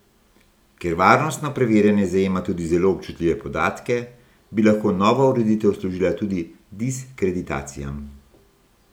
Ker varnostno preverjanje zajema tudi zelo občutljive podatke, bi lahko nova ureditev služila tudi diskreditacijam.